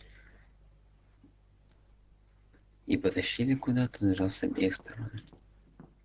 и потащили куда-то сжав с обеих сторон